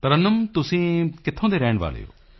ਤਰੱਨੁਮ ਤੁਸੀਂ ਕਿੱਥੋਂ ਦੇ ਰਹਿਣ ਵਾਲੇ ਹੋ